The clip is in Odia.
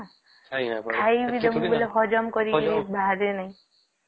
ଖାଇ ଦବ ଯଦି ହଜମ ନାଇଁ କରି ପାରିବ ଏ ନାଇଁ